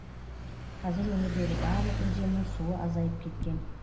қазір өңірдегі барлық өзеннің суы азайып кеткен